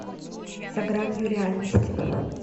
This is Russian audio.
за гранью реальности